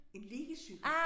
En liggecykel